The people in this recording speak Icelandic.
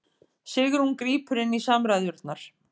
Sigrún grípur inn í samræðurnar